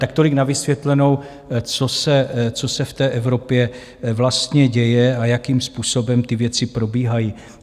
Tak tolik na vysvětlenou, co se v té Evropě vlastně děje a jakým způsobem ty věci probíhají.